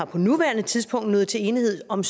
på nuværende tidspunkt nået til enighed om